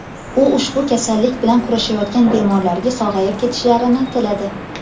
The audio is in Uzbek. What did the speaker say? U ushbu kasallik bilan kurashayotgan bemorlarga sog‘ayib ketishlarini tiladi.